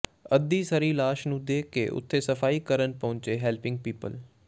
ਅੱਧੀ ਸੜੀ ਲਾਸ਼ ਨੂੰ ਦੇਖ ਕੇ ਉਥੇ ਸਫਾਈ ਕਰਨ ਪਹੁੰਚੇ ਹੈਲਪਿੰਗ ਪੀਪਲ